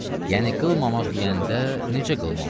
Yəni qılmamaq deyəndə necə qılmamaq?